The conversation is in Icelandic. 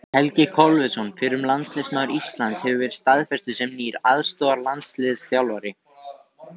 Helgi Kolviðsson, fyrrum landsliðsmaður Íslands, hefur verið staðfestur sem nýr aðstoðarlandsliðsþjálfari.